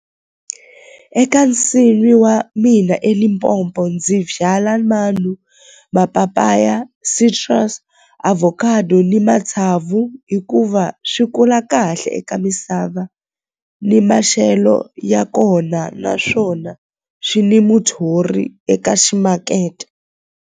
Eka nsimi wa mina eLimpopo ndzi byala mapapaya avocado ni matsavu hikuva swi kula kahle eka misava ni maxelo ya kona naswona swi ni muthori eka ximakete.